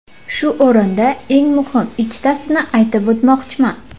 Shu o‘rinda eng muhim ikkitasini aytib o‘tmoqchiman.